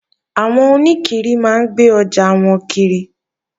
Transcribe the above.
Àwọn oníkiri máa ń gbé ọjà wọn kiri